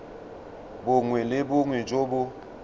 bongwe le bongwe jo bo